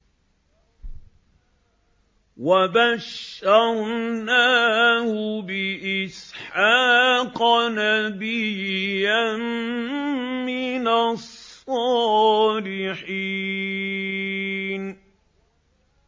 وَبَشَّرْنَاهُ بِإِسْحَاقَ نَبِيًّا مِّنَ الصَّالِحِينَ